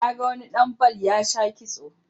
Na ga wani ɗan bal ya sha kitso